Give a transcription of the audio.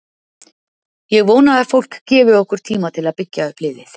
Ég vona að fólk gefi okkur tíma til að byggja upp liðið.